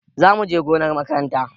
Za mu je gonar makaranta.